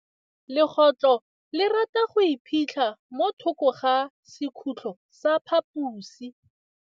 Legôtlô le rata go iphitlha mo thokô ga sekhutlo sa phaposi.